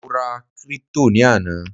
mo ra crypto ni ana